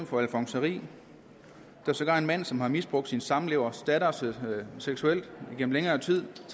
for alfonseri og der er sågar en mand som har misbrugt sin samlevers datter seksuelt igennem længere tid og